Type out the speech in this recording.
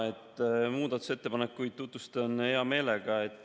Muudatusettepanekuid tutvustan hea meelega.